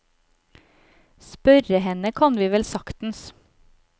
Spørre henne kan vi vel saktens.